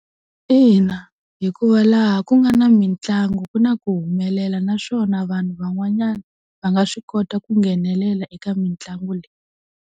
Ina, hikuva laha ku nga na mitlangu ku na ku humelela naswona vanhu van'wanyana va nga swi kota ku nghenelela eka mitlangu leyi.